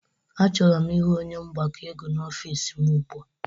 A chọrọ m ịhụ onye mgbakọ ego n'ofisi m ụgbụa!